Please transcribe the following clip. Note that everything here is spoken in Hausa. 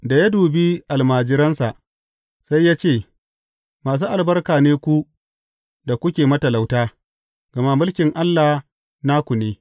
Da ya dubi almajiransa, sai ya ce, Masu albarka ne ku da kuke matalauta, gama mulkin Allah naku ne.